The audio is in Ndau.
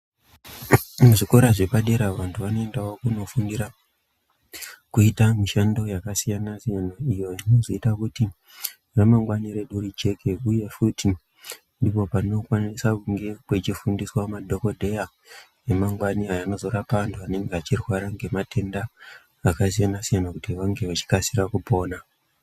Kuzvikora zvepadera vantu vanoendawo kunofundira kuita mishando yakasiyana siyana iyo inozoite kuti ramangwani redu rijeke uye futi ndikwo kunokwanise kunge kwechifundiswa madhokodheya emangwani ayo anozorapa antu anenge echirwara ngematenda akasiyana siyana kuti vange vechikasira kupona.